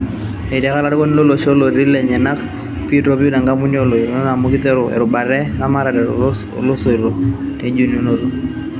Etiaka Olarikoni lolosho lootii lenyenak pii topiu kampunini oo loinitok amu kiteru erubata ee ramatare too loisotoo oo ilnjonito